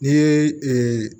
N'i ye